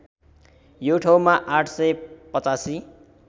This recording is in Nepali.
यो ठाउँमा ८८५